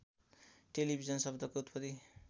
television शब्दको उत्पत्ति